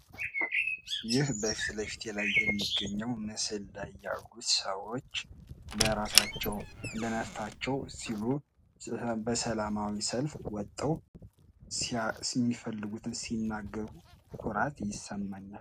ይህ በምስሉ ላይ ያሉ ሰዎች ለራሳቸው ነፍስ ስሉ በሰላማዊ ሰልፍ በኩራት ሲናከሩ ኩራት ይሰማኛል ።